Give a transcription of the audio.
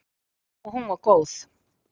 Og hún var góð.